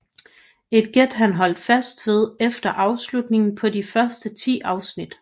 Et gæt han holdt fast ved efter afslutningen på de første ti afsnit